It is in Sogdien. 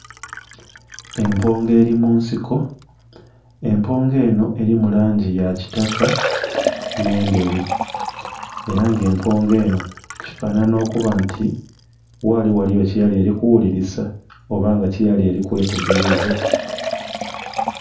Empungu eli mu nsiko. Empungu eno elimu langi ya kitaka nh'endheru. Ela nga empungu eno kifanhanha okuba nti ghali ghaliyo kyeyali eli kuwulilisa oba nga kyeyali eli kwetegeleza.